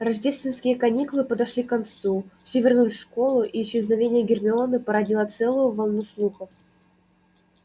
рождественские каникулы подошли к концу все вернулись в школу и исчезновение гермионы породило целую волну слухов